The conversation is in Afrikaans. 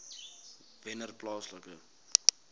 wennerplaaslike